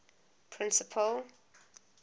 principal